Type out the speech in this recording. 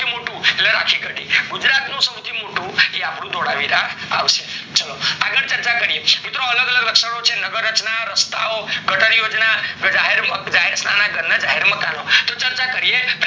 સૌથી મોટું એટલે રથીગઢ ગુજરાત નું સૌથી મોટું એ અપ્ડું ધોળાવીરા આવશે ચાલો આગળ ચર્ચા કરીએ તો મિત્રો અલગ અલગ રચના છે નગર રચના રસ્તા ગટર યોજના જાહેર સ્થળ ના મકાનો તો ચર્ચા કરીએ